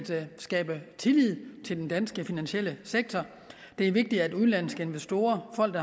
skabe tillid til den danske finansielle sektor det er vigtigt at udenlandske investorer og folk